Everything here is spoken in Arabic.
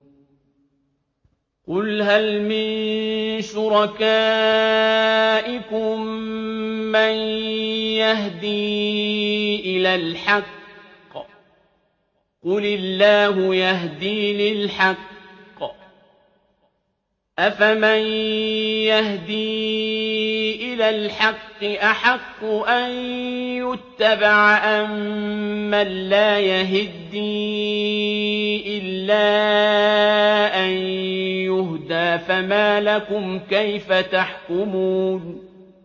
قُلْ هَلْ مِن شُرَكَائِكُم مَّن يَهْدِي إِلَى الْحَقِّ ۚ قُلِ اللَّهُ يَهْدِي لِلْحَقِّ ۗ أَفَمَن يَهْدِي إِلَى الْحَقِّ أَحَقُّ أَن يُتَّبَعَ أَمَّن لَّا يَهِدِّي إِلَّا أَن يُهْدَىٰ ۖ فَمَا لَكُمْ كَيْفَ تَحْكُمُونَ